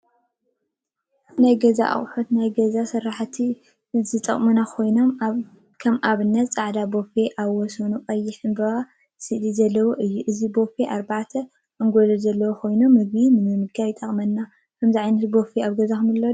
ናይ ገዛ አቁሑ ንናይ ገዛ ስርሓቲ ዝጠቅሙና ኮይኖም፤ ከም አብነት ፃዕዳ ቦፌ አብ ወሰኑ ቀይሕ ዕምበባ እስሊ ዘለዎ እዩ፡፡ እዚ ቦፌ አርባዕተ አንጎሎ ዘለዎ ኮይኑ፤ ምግቢ ንምምጋብ ይጠቅመና፡፡ ከምዛ ቦፌ እዚአ አብ ገዛኩም አለኩም ዶ?